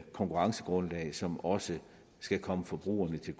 konkurrencegrundlag som også skal komme forbrugerne til